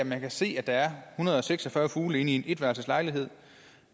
man kan se at der er en hundrede og seks og fyrre fugle i en etværelses lejlighed